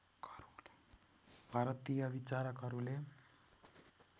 भारतीय विचारकहरूले